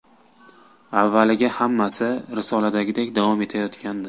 Avvaliga hammasi risoladagidek davom etayotgandi.